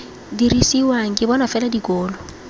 dirisiwang ke bona fela dikolo